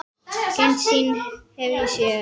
Eina sýn hef ég séð.